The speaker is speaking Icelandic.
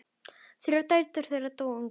Þrjár dætur þeirra dóu ungar.